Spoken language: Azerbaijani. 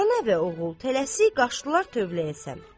Ana və oğul tələsik qaçdılar tövləyə səmt.